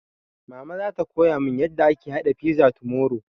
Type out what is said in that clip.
Mama zata koya mun yarda ake haɗa fiza tomorrow